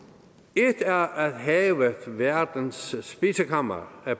et er at havet verdens spisekammer er